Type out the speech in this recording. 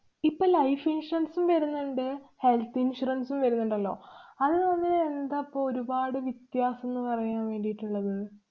ഇപ്പ life insurance ഉം വരുന്നുണ്ട് health insurance ഉം വരുന്നുണ്ടല്ലോ. അത് തമ്മില് എന്താ പ്പൊ ഒരുപാട് വ്യത്യാസന്ന് പറയാന്‍ വേണ്ടീട്ട് ള്ളത്.